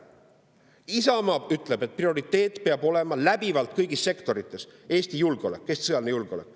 Isamaa ütleb, et prioriteet peab kõigis sektorites läbivalt olema Eesti julgeolek, Eesti sõjaline julgeolek.